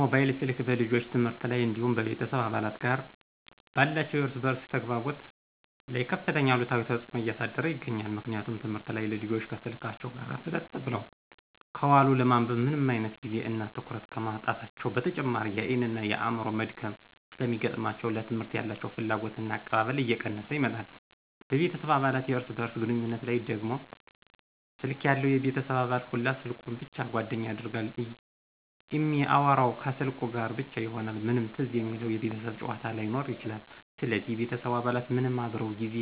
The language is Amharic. ሞባይል ስልክ በልጆች ትምህርት ላይ እንዲሁም በቤተሰብ አባላት ጋር ባላቸው የእርስ በእርስ ተግባቦት ላይ ከፍተኛ አሉታዊ ተጽዕኖ እያሳደረ ይገኛል። ምክንያቱም ትምህርት ላይ ልጆች ከስልካቸው ጋር ፍጥጥ ብለው ከዋሉ ለማንበብ ምንም አይነት ጊዜ እና ትኩረት ከማጣታቸው በተጨማሪ የአይን እና የአዕምሮ መድከም ስለሚገጥማቸው ለትምህርት ያላቸው ፍላጎትና አቀባበል እየቀነሰ ይመጣል፤ በቤተሰብ አባላት የእርስ በእርስ ግንኙነት ላይ ደግሞ ስልክ ያለው የቤተሰብ አባል ሁላ ስልኩን ብቻ ጓደኛ ያደርጋል እሚአወራው ከስልኩ ጋር ብቻ ይሆናል ምንም ትዝ የሚለው የቤተሰብ ጫዎታ ላይኖር ይችላል ስለዚህ የቤተሰቡ አባላት ምንም አብረው ጊዜ